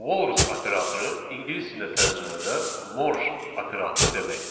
Walrus operatoru ingilis dilində tərcümədə morj operatoru deməkdir.